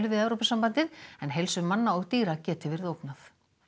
við Evrópusambandið en heilsu manna og dýra geti verið ógnað